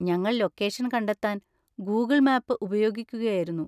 ഞങ്ങൾ ലൊക്കേഷൻ കണ്ടെത്താൻ Google map ഉപയോഗിക്കുകയായിരുന്നു.